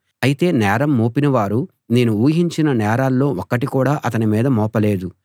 అయితే నేరం మోపినవారు నేను ఊహించిన నేరాల్లో ఒక్కటి కూడా అతని మీద మోపలేదు